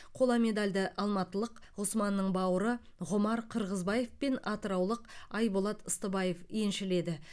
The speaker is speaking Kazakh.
қола медальді алматылық ғұсманның бауыры ғұмар қырғызбаев пен атыраулық айболат ыстыбаев еншіледі